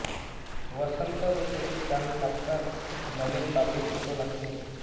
वसंत ऋतूची चाहूल लागताच नवीन पालवी फुटू लागते